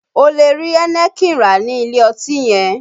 O lè rí Heineken rà ní ilé ọtí yẹn